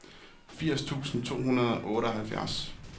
firs tusind to hundrede og otteoghalvtreds